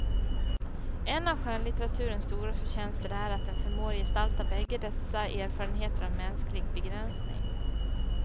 En av skönlitteraturens stora förtjänster är att den förmår gestalta bägge dessa erfarenheter av mänsklig begränsning.